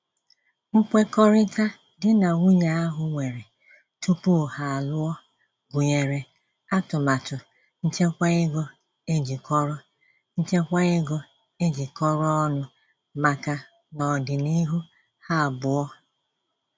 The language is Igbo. Nkwekọrịta di na nwunye ahụ nwere tupu ha alụọ gụnyere atụmatụ nchekwaego ejikọrọ nchekwaego ejikọrọ ọnụ maka n'ọdịniihu ha abụọ.